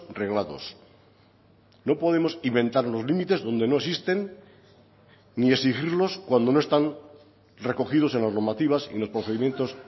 reglados no podemos inventar los límites donde no existen ni exigirlos cuando no están recogidos en las normativas en los procedimientos